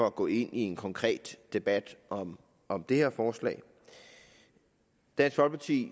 at gå ind i en konkret debat om om det her forslag dansk folkeparti